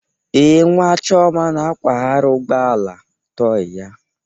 Ee, nwa chioma na-akwagharị ụgbọ ala tọị ya.